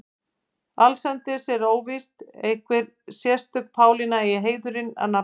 Allsendis er óvíst að einhver sérstök Pálína eigi heiðurinn að nafninu.